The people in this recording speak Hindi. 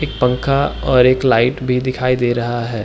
एक पंखा और एक लाइट भी दिखाई दे रहा है।